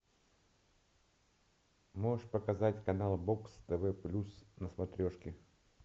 можешь показать канал бокс тв плюс на смотрешке